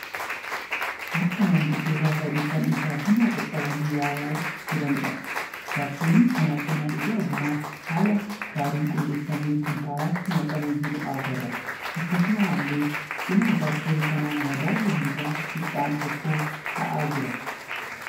Harka maanguddoota sadii kan ija bunaa qaqqabanii ilaalaa jiraniidha. Jaarsolii kana cina ija bunaa haala gaariin qulleeffamee kuntaalatti naqamee jiru agarra. Akkasumallee cina jaarsolii kanaa madaalli hangaa xiqqaan tokko ta'aa jira.